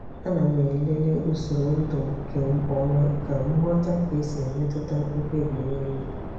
A na m elele usoro ndu nke ọma ka m ghọta ka esi emetụta mkpebi n'elu.